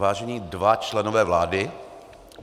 Vážení dva členové vlády.